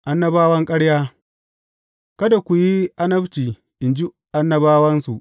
Annabawan ƙarya Kada ku yi annabci in ji annabawansu.